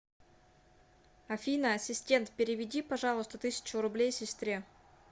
афина ассистент переведи пожалуйста тысячу рублей сестре